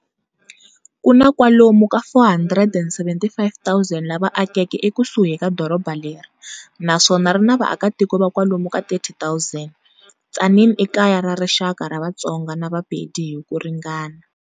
Kuna kwalomu ka 475,000 lava akeke eku suhi ka doroba leri, naswona rina va aka tiko va kwalomu ka 30,000. Tzaneen i kaya ra rixaka ra vatsonga na ra vapedi hi ku ringana.